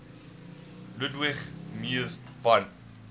ludwig mies van